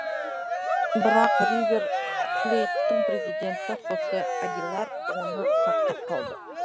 бірақ ривер плейттің президенті хосе агилар оны сақтап қалды